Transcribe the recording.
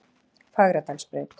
Fagradalsbraut